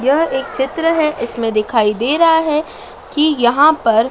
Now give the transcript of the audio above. यह एक चित्र है इसमें दिखाई दे रहा है कि यहां पर--